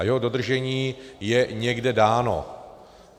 A jeho dodržení je někde dáno.